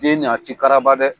Den nin a ti karaba dɛ?